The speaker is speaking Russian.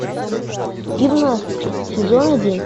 гимнастки сезон один